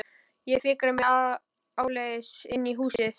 Ég fikra mig áleiðis inn í húsið.